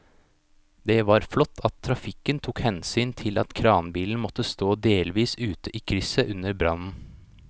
Det var flott at trafikken tok hensyn til at kranbilen måtte stå delvis ute i krysset under brannen.